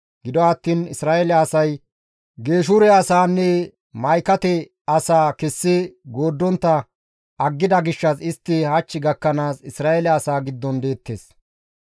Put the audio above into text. Gido attiin Isra7eele asay Geeshure asaanne Ma7ikate asaa kessi gooddontta aggida gishshas istti hach gakkanaas Isra7eele asaa giddon deettes.